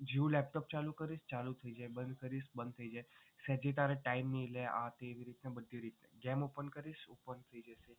જેવું laptop ચાલુ કરીશ ચાલુ થઈ જાય બંધ કરીશ બંધ થઈ જાય જેથી તારે time નહીં લે એવી રીતના બધી રીતે જેમ open કરીશ open થઈ જાય.